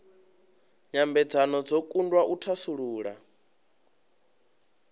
nyambedzano dzo kundwa u thasulula